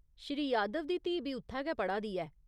श्री यादव दी धीऽ बी उत्थै गै पढ़ा दी ऐ।